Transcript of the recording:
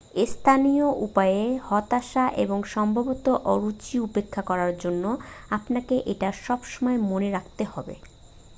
স্থানীয় উপায়ে হতাশা এবং সম্ভবত অরুচি উপেক্ষা করার জন্য আপনাকে এটা সবসময় মনে রাখতে হবে